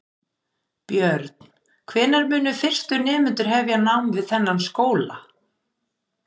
Björn: Hvenær munu fyrstu nemendur hefja nám við þennan skóla?